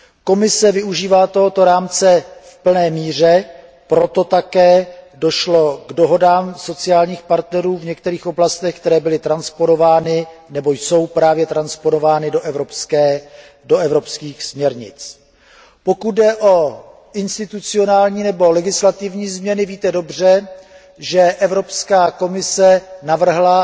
Komise využívá tohoto rámce v plné míře, proto také došlo k dohodám sociálních partnerů v některých oblastech, které byly transponovány nebo jsou právě transponovány do evropských směrnic. Pokud jde o institucionální nebo legislativní změny, víte dobře, že Evropská komise navrhla